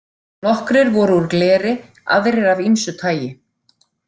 Nokkrir voru úr gleri, aðrir af ýmsu tagi.